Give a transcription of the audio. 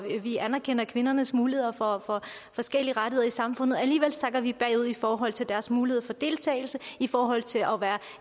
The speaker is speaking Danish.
anerkender kvindernes muligheder for forskellige rettigheder i samfundet alligevel sakker vi bagud i forhold til deres mulighed for deltagelse i forhold til at være